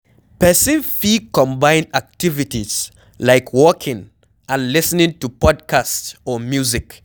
Person fit combine activities like walking and lis ten ing to podcast or music